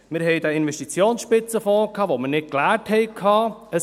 Wir hatten den Investitionsspitzenfonds, den wir nicht geleert hatten.